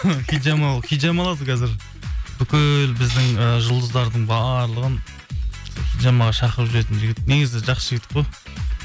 хиджама ол хиджама алады қазір бүкіл біздің і жұлыздардың барлығын хиджамаға шақырып жүретін жігіт негізі жақсы жігіт қой